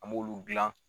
An b'olu dilan